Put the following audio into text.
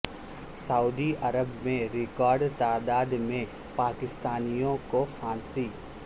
سعودی عرب میں ریکارڈ تعداد میں پاکستانیوں کو پھانسی